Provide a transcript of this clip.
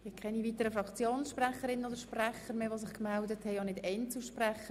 Es haben sich keine weiteren Fraktionssprecherinnen oder -sprecher gemeldet, und auch keine Einzelsprecher.